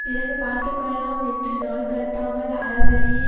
பிறகு பார்த்துக்கொள்ளலாம் என்று நாள் கடத்தாமல் அறவழியை